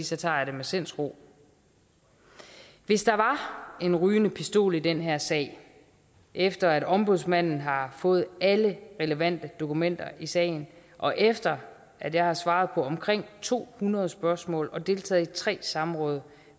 så tager jeg det med sindsro hvis der var en rygende pistol i den her sag efter at ombudsmanden har fået alle relevante dokumenter i sagen og efter at jeg har svaret på omkring to hundrede spørgsmål og deltaget i tre samråd